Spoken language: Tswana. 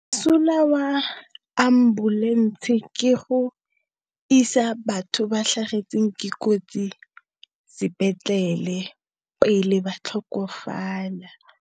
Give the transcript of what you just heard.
Mosola wa ambulense ke go isa batho ba tlhagetsweng ke kotsi sepetlele pele ba tlhokofala.